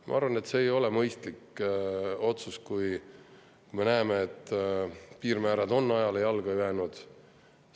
Ma arvan, et see ei ole mõistlik otsus, kui me näeme, et piirmäärad on ajale jalgu jäänud.